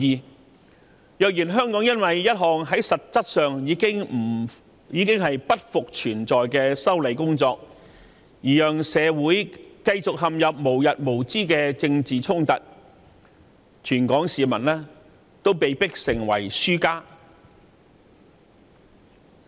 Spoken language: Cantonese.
倘若香港社會因為一項實質上不復存在的修例工作而陷入無日無之的政治衝突，全港市民都會被迫成為輸家。